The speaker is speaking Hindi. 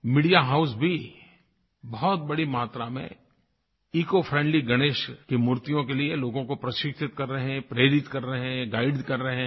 मीडिया हाउस भी बहुत बड़ी मात्रा में ईसीओ फ्रेंडली गणेश की मूर्तियों के लिए लोगों को प्रशिक्षित कर रहे हैं प्रेरित कर रहे हैं गाइड कर रहे हैं